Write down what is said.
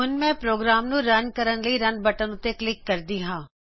ਹੁਣ ਮੈਂ ਪ੍ਰੋਗਰਾਮ ਨੂੰ ਰਨ ਕਰਨ ਲਈ ਰਨ ਬਟਨ ਉੱਤੇ ਕਲਿਕ ਕਰਦੀ ਹਾਂ